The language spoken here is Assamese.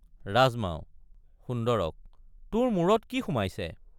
ৰাজমাও—সুন্দৰক তোৰমূৰত কি সোমাইছে।